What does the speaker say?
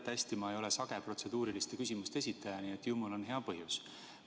Te teate hästi, et ma ei ole sage protseduuriliste küsimuste esitaja, nii et ju mul on praegu hea põhjus.